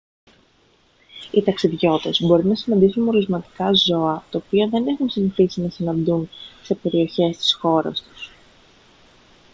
οι ταξιδιώτες μπορεί να συναντήσουν μολυσματικά ζώα τα οποία δεν έχουν συνηθίσει να συναντούν σε περιοχές της χώρας τους